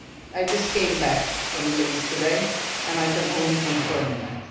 I just came back from the Middle East today and I can only confirm that.